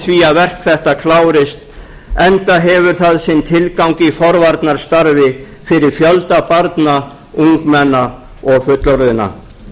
því að verk þetta klárist enda hefur það sinn tilgang í forvarnastarf fyrir fjölda barna ungmenna og fullorðinna